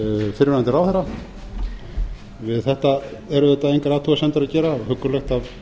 fyrrverandi ráðherra við þetta er auðvitað engar athugasemdir að gera það er huggulegt af